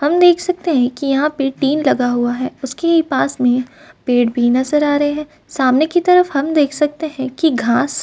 हम देख सकते हैं कि यहाँ पर टीन लगा हुआ है। उसके पास में पेड़ भी नजर आ रहे हैं। सामने की तरफ हम देख सकते हैं की घास --